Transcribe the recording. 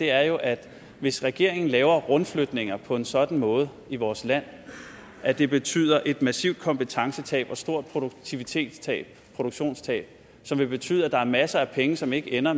er jo at hvis regeringen laver rundflytninger på en sådan måde i vores land at det betyder et massivt kompetencetab og et stort produktivitetstab et produktionstab som vil betyde at der er masser af penge som ikke ender